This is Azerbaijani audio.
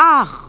Ax!